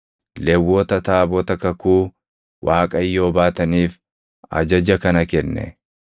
Lewwota taabota kakuu Waaqayyoo baataniif ajaja kana kenne: